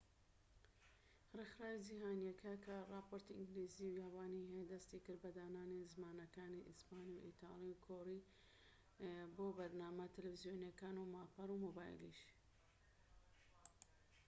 ڕێکخراوە جیهانیکە کە راپۆرتی ئینگلیزی و یابانی هەیە دەستی کرد بە دانانی زمانەکانی ئیسپانی و ئیتالی و کۆری بۆ بەرنامە تەلەڤیزۆنیەکان و ماڵپەڕ و مۆبایلیش